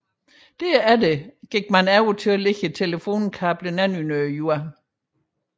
Derefter gik man over til at lægge telefonkablerne under jorden